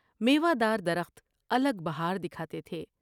میوہ دار درخت الگ بہار دکھاتے تھے ۔